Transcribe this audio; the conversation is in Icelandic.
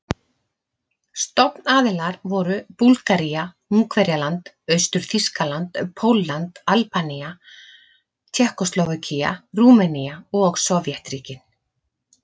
Stofnaðilar voru Búlgaría, Ungverjaland, Austur-Þýskaland, Pólland, Albanía, Tékkóslóvakía, Rúmenía og Sovétríkin.